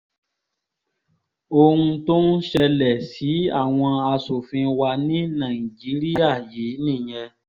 ohun tó ń ṣẹlẹ̀ sí àwọn asòfin wa ní nàìjíríà yìí nìyẹn